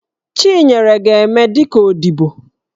Chinyere ga-eme dị ka odibo.